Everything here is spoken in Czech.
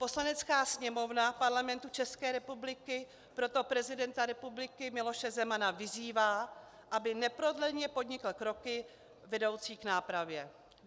Poslanecká sněmovna Parlamentu České republiky proto prezidenta republiky Miloše Zemana vyzývá, aby neprodleně podnikl kroky vedoucí k nápravě.